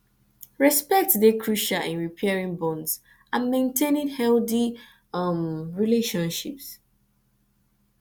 respect dey crucial in repairing bonds and maintaining healthy um relationships